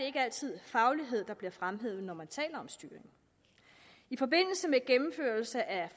ikke altid faglighed der bliver fremhævet når man taler om styring i forbindelse med gennemførelse af